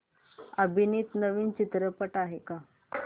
अभिनीत नवीन चित्रपट आहे का